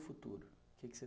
Futuro o que é que você